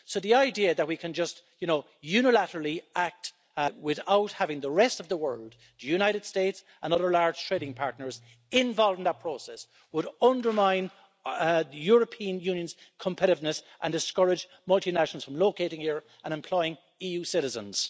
So the idea that we can just unilaterally act without having the rest of the world the United States and other large trading partners involved in that process would undermine the European Union's competitiveness and discourage multinationals from locating here and employing EU citizens.